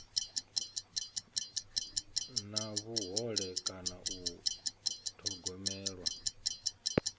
na vhuhole kana u thogomelwa